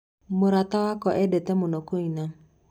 Mũrata wakwa endete mũno kũina.